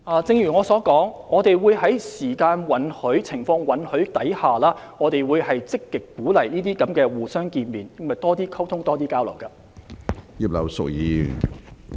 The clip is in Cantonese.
正如我所說，如果時間和情況允許，我們積極鼓勵這些會面，以進行更多溝通和交流。